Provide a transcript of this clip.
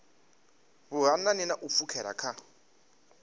vhuhanani na u pfukhela kha